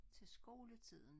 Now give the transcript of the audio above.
Til skoletiden